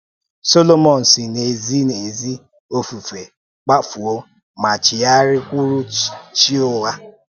Solomọn si n’ezi n’ezi ofufe kpàfuo ma chigharịkwúru chi ụgha.